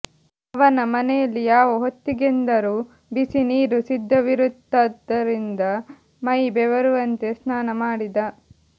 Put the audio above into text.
ಅವನ ಮನೆಯಲ್ಲಿ ಯಾವ ಹೊತ್ತಿಗೆಂದರೂ ಬಿಸಿ ನೀರು ಸಿದ್ಧವಿರುತ್ತಾದ್ದರಿಂದ ಮೈ ಬೆವರುವಂತೆ ಸ್ನಾನ ಮಾಡಿದ